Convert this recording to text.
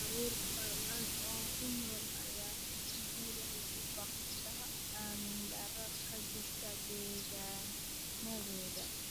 Carruur badan oo ku nool ayaa iskuullada uga baaqda amni-darrada ka jirta deegaannadooda.